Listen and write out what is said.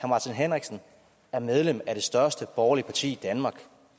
martin henriksen er medlem af det største borgerlige parti i danmark